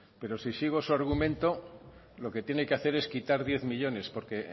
pero si sigo su argumento lo que tiene que hacer es quitar diez millónes porque